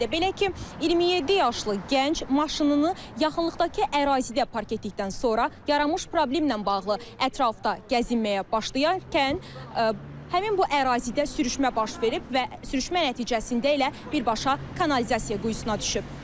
Belə ki, 27 yaşlı gənc maşınını yaxınlıqdakı ərazidə park etdikdən sonra yaranmış problemlə bağlı ətrafda gəzinməyə başlayarkən həmin bu ərazidə sürüşmə baş verib və sürüşmə nəticəsində elə birbaşa kanalizasiya quyusuna düşüb.